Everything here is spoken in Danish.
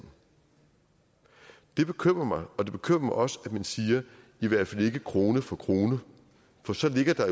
det bekymrer mig og det bekymrer mig også at man siger i hvert fald ikke krone for krone for så ligger der